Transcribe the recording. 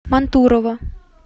мантурово